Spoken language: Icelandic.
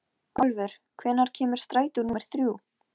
Ylja, lækkaðu í hátalaranum.